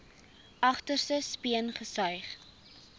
agterste speen gesuig